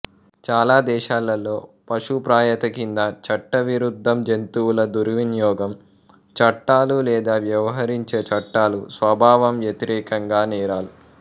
చాలా దేశాలలో పశుప్రాయత కింద చట్టవిరుద్ధం జంతువుల దుర్వినియోగం చట్టాలు లేదా వ్యవహరించే చట్టాలు స్వభావం వ్యతిరేకంగా నేరాలు